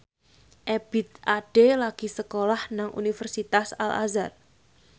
Ebith Ade lagi sekolah nang Universitas Al Azhar